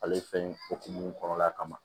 Ale fɛn hokumu kɔnɔna kama